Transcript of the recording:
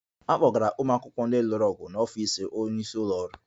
A kpọgara ụmụ akwụkwọ ndị lụrụ ọgụ n'ọfịs onye isi ụlọ ọrụ